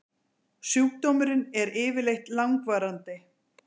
Sjúkdómurinn er yfirleitt langvarandi.